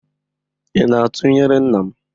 Ị na-atụnyere nna m?